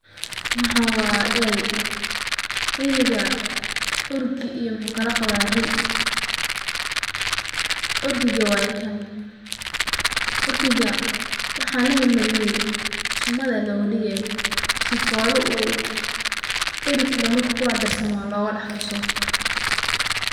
Waxan wa eri, eriga orgi iyo muxu kalaqaba ri, orgiga waye kan orgiga waxan laa marmariye sumad aya loga digay sifola eri kale marku kudax tarsamo loga daxkaso.